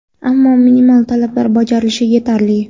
ammo minimal talablar bajarilishi yetarli.